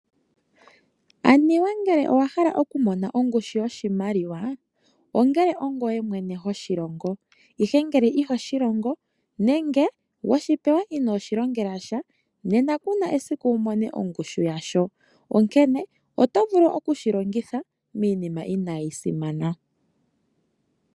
Aniwa ngele owa hala okumona ongushu yoshimaliwa ongele ongweye mwene hoshilongo ihe ngele ihoshilongo nenge weshi pewa ino iilongela sha nena kuna esiku wumone oongushu yasho , onkene oto vulu okushi longitha miinima ina yisimana.